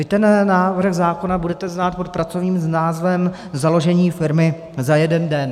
Vy ten návrh zákona budete znát pod pracovním názvem založení firmy za jeden den.